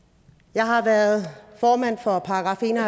jeg har været formand for § en og